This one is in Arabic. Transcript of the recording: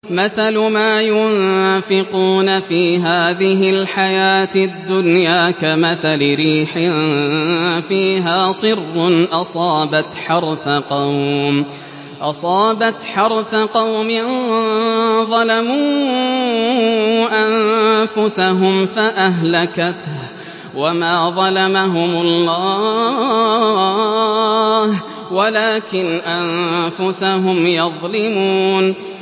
مَثَلُ مَا يُنفِقُونَ فِي هَٰذِهِ الْحَيَاةِ الدُّنْيَا كَمَثَلِ رِيحٍ فِيهَا صِرٌّ أَصَابَتْ حَرْثَ قَوْمٍ ظَلَمُوا أَنفُسَهُمْ فَأَهْلَكَتْهُ ۚ وَمَا ظَلَمَهُمُ اللَّهُ وَلَٰكِنْ أَنفُسَهُمْ يَظْلِمُونَ